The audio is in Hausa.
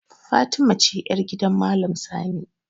Fatima ce yar gidan maalam sani